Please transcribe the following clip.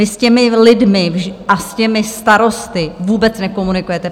Vy s těmi lidmi a s těmi starosty vůbec nekomunikujete.